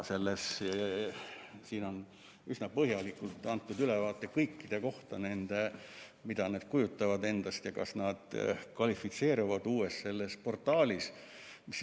Siin on üsna põhjalikult antud ülevaade kõikide kohta, et mida need endast kujutavad ja kas nad kvalifitseeruvad uues portaalis.